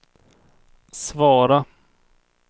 svara